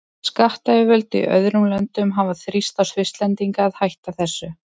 Skattyfirvöld í öðrum löndum hafa þrýst á Svisslendinga að hætta þessu.